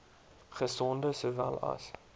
gesonde sowel as